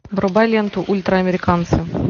врубай ленту ультраамериканцы